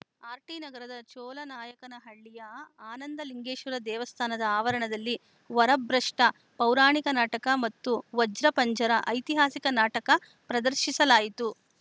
ಆರ್‌ಟಿನಗರದ ಚೋಲನಾಯಕನಹಳ್ಳಿಯ ಆನಂದಲಿಂಗೇಶ್ವರ ದೇವಸ್ಥಾನದ ಆವರಣದಲ್ಲಿ ವರಭ್ರಷ್ಟ ಪೌರಾಣಿಕ ನಾಟಕ ಮತ್ತು ವಜ್ರಪಂಜರ ಐತಿಹಾಸಿಕ ನಾಟಕ ಪ್ರದರ್ಶಿಸಲಾಯಿತು